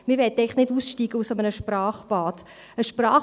Wir möchten eigentlich nicht aus einem Sprachbad aussteigen.